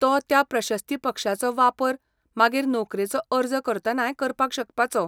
तो त्या प्रशस्तीपक्षाचो वापर मागीर नोकरेचो अर्ज करतनाय करपाक शकपाचो.